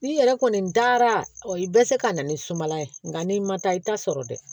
N'i yɛrɛ kɔni dara o ye bɛ se ka na ni sumala ye nka n'i ma taa i ta sɔrɔ dɛ